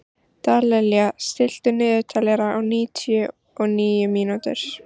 Dallilja, stilltu niðurteljara á níutíu og níu mínútur.